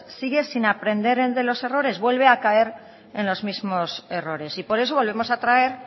sigue sin aprender de los errores vuelve a caer en los mismos errores y por eso volvemos a traer